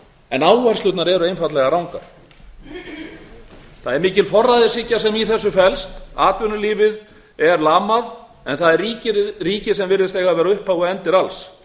en áherslurnar eru einfaldlega rangar það er mikil forræðishyggja sem í þessu felst atvinnulífið er lamað en það er ríkið sem virðist vera upphaf og endir alls